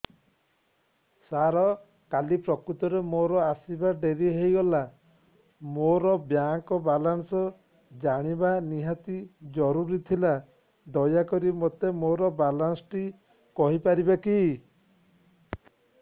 ସାର କାଲି ପ୍ରକୃତରେ ମୋର ଆସିବା ଡେରି ହେଇଗଲା ମୋର ବ୍ୟାଙ୍କ ବାଲାନ୍ସ ଜାଣିବା ନିହାତି ଜରୁରୀ ଥିଲା ଦୟାକରି ମୋତେ ମୋର ବାଲାନ୍ସ ଟି କହିପାରିବେକି